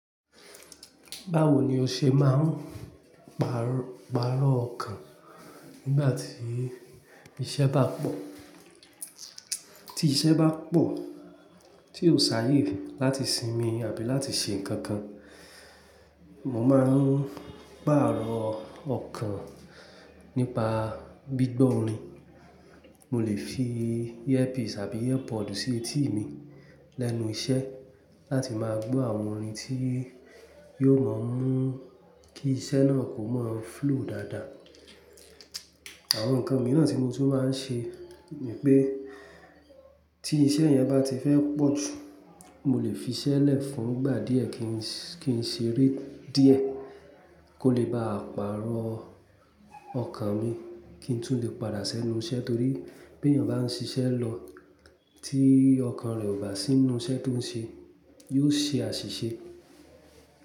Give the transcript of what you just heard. Báwo ni o ṣe máa ń pàrọ̀ ọkàn nígbà tí iṣẹ́ bá pọ̀? Tí iṣẹ́ bá pọ̀ tí ó ṣàyè láti sinmi àbí láti ṣe nǹkan kan, mo máa ń pàrọ̀ ọkàn nípa gbígbọ́ orin. Mo lè fi earbuds àbí earpod sí etí mi lẹ́nu iṣẹ́ láti máa gbọ́ àwọn orin tí yóò máa ń mú kí iṣẹ́ náà kó máa flow dáadáa. Àwọn nǹkan mìíràn tí mo tún máa ń ṣe ni pé tí iṣẹ́ yẹn bá ti fẹ́ pọ̀ jù, mo lè fi iṣẹ́ lẹ̀ fún ìgbà díẹ̀ kí n ṣe eré díẹ̀ kó lè bá à pàrọ̀ ọkàn mi kí n tún lè padà sẹ́nu iṣẹ́ torí pé bí ènìyàn bá ń ṣiṣẹ́ lọ tí ọkàn rẹ̀ ò bá sínú iṣẹ́ tó ń ṣe, yóò ṣe àṣìṣe.